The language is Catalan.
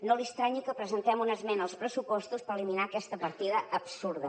no li estranyi que presentem una esmena als pressupostos per eliminar aquesta partida absurda